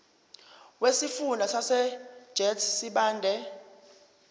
wesifunda sasegert sibande